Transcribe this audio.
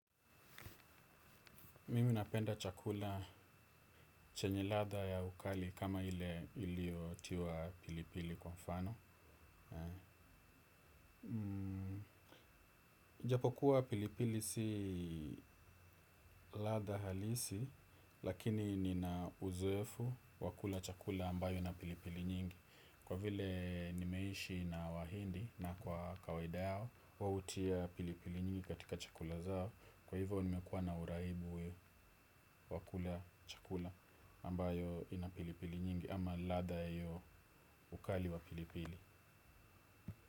Mimi napenda chakula chenye ladha ya ukali kama ile iliotiwa pilipili kwa mfano. Japokuwa pilipili si ladha halisi, lakini nina uzoefu wa kula chakula ambayo ina pilipili nyingi kwa vile nimeishi na wahindi na kwa kawaida yao, wao hutia pilipili nyingi katika chakula zao kwa hivyo nimekuwa na uraibu wa kula chakula ambayo ina pilipili nyingi ama ladha ya hiyo ukali wa pilipili.